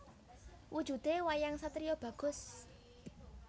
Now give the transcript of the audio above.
Wujudé wayang satriya bagus